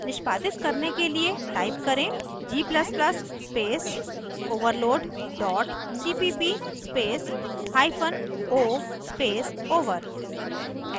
निष्पादित करने के लिए type करें g ++ space overload dot cpp space hyphen o space over